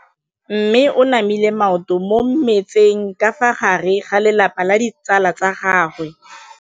Mme o namile maoto mo mmetseng ka fa gare ga lelapa le ditsala tsa gagwe.